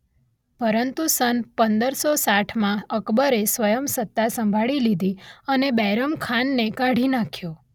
પરંતુ સન પંદર સો સાંઠમાં અકબરે સ્વયં સત્તા સંભાળી લીધી અને બૈરામ ખાનને કાઢી નાખ્યો.